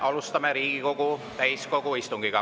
Alustame Riigikogu täiskogu istungit.